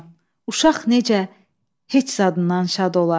Uşaq necə heç zadından şad olar.